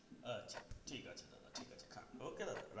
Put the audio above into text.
আচ্ছা ঠিক আছে দাদা ঠিক আছে খান okay দাদা রাখছি.